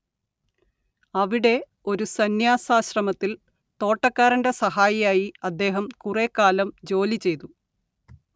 അവിടെ ഒരു സംന്യാസാശ്രമത്തിൽ തോട്ടക്കാരന്റെ സഹായിയായി അദ്ദേഹം കുറേക്കാലം ജോലിചെയ്തു